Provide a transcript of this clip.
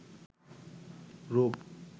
রুপ